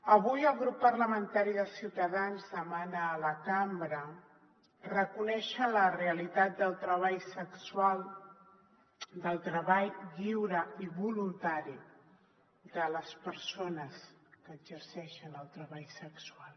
avui el grup parlamentari de ciutadans demana a la cambra reconèixer la realitat del treball sexual del treball lliure i voluntari de les persones que exerceixen el treball sexual